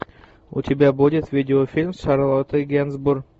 у тебя будет видеофильм с шарлоттой генсбур